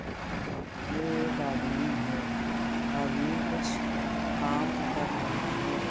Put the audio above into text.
यह एक आदमी है आदमी कुछ काम कर रहा है।